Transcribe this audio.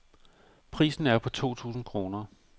Prisen er på to tusind kroner.